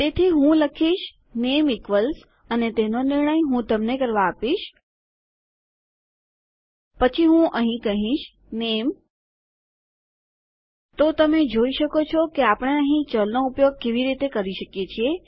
તેથી હું લખીશ નેમ ઇક્વલ્સ અને તેનો નિર્ણય હું તમને કરવા આપીશ પછી હું અહીં કહીશ નેમ તો તમે જોઈ શકો છો કે આપણે અહીં ચલનો ઉપયોગ કેવી રીતે કરી શકીએ છીએ